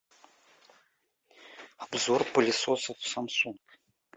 обзор пылесосов самсунг